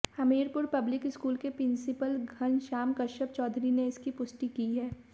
Hamirpur public school के principal Ghanshyam Kashyap Chaudhary ने इसकी पुष्टि की है